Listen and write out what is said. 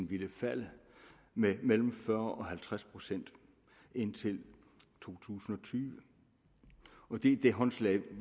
ville falde med mellem fyrre og halvtreds procent indtil to tusind og tyve og det er det håndslag